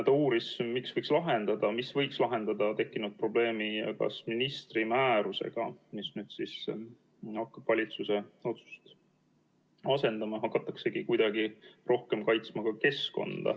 Ta uuris, mis võiks lahendada tekkinud probleemi ja kas ministri määrusega, mis nüüd hakkab valitsuse otsust asendama, hakatakse keskkonda kuidagi rohkem kaitsma.